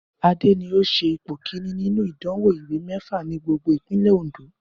Adé ni ó se ipò kìíní nínú ìdánwò ìwé méfa ní gbogbo ìpínlè Òndó